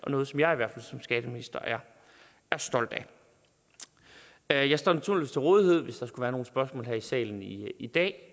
noget som jeg som skatteminister er stolt af jeg står naturligvis til rådighed hvis der skulle være nogle spørgsmål her i salen i i dag